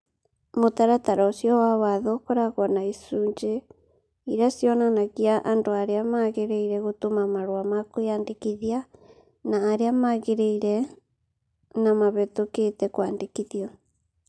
Mũtaratara ũcio wa watho ũkoragwo na icũnjĩ irĩa cionanagia andũ arĩa magĩrĩire gũtũma marũa ma kwĩyandĩkithia na arĩa magĩrĩire na mahetũkĩte kwandĩkithio..